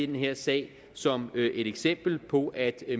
den her sag som et eksempel på at